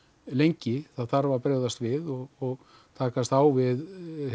lengi það þarf að bregðast við og takast á við